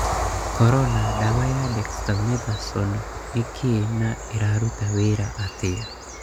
Korona: dawa ya dexamethasone nĩ kĩĩ na ĩrarũta wĩra atĩa